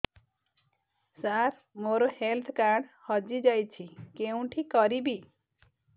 ସାର ମୋର health card ହଜି ଯାଇଛି କେଉଁଠି କରିବି